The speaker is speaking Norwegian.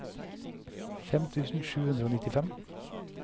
fem tusen sju hundre og nittifem